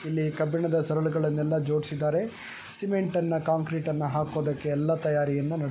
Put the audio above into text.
ಇಲ್ಲಿ ಕಬ್ಬಿಣದ ಸರಳುಗಳನ್ನೆಲ್ಲ ಜೋಡಿಸಿದ್ದಾರೆ ಸಿಮೆಂಟ್ ಅನ್ನ ಕಾಂಕ್ರಿಟನ್ನ ಹಾಕೋದಕ್ಕೆ ಎಲ್ಲ ತಯಾರಿಯನ್ನ --